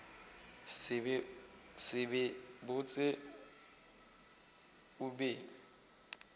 se be botse o be